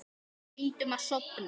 Reyndum að sofna.